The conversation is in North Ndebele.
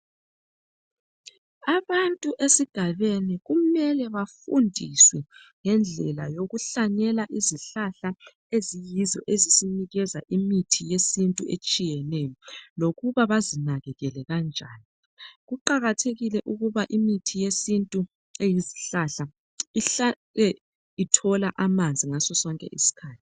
Abantu esigabeni kumele bafundiswe ngendlela yokuhlanyela izihlahla eziyizo ezisinikeza imithi yesintu etshiyeneyo, lokuba bazinakekele kanjani. Kuqakathekile ukuba imithi yesintu eyezihlahla ihlale ithola amanzi ngaso sonke isikhathi.